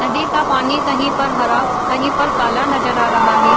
नदी का पानी कहीं पर हरा कहीं पर काला नज़र आ रहा है।